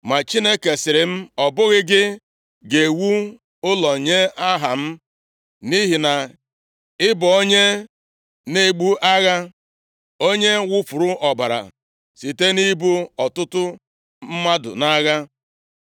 ma Chineke sịrị m, ‘Ọ bụghị gị ga-ewu ụlọ nye Aha m, nʼihi na ị bụ onye na-ebu agha, onye wufuru ọbara site nʼigbu ọtụtụ mmadụ nʼagha.’